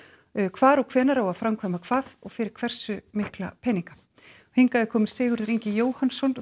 hvar og hvenær á að framkvæma hvað og fyrir hversu mikla peninga hingað er kominn Sigurður Ingi Jóhannsson